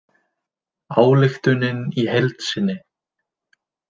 Ályktunin í heild sinni